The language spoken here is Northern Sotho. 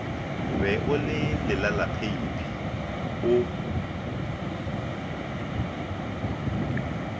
be o le lelalaphaephe o